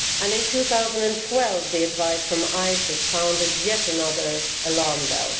In 2012 the advice from ICES sounded yet another alarm bell.